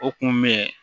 O kun bɛ